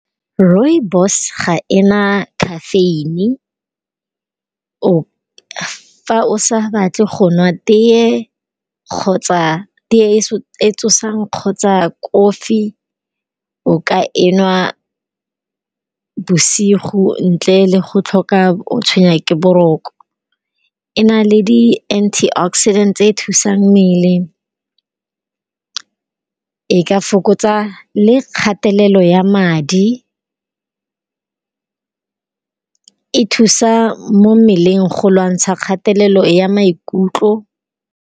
Rooibos ga ena khafeine, fa o sa batle go nwa teye kgotsa teye e tsosang kgotsa kofi o ka e nwa bosigo ntle le go tlhoka o tshwenya ke boroko. E na le di anti oxidant tse thusang mmele e ka fokotsa le kgatelelo ya madi, e thusa mo mmeleng go lwantsha kgatelelo ya maikutlo.